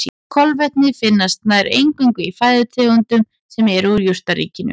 Kolvetni finnast nær eingöngu í fæðutegundum sem eru úr jurtaríkinu.